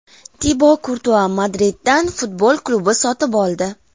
Tibo Kurtua Madriddan futbol klubi sotib oldi.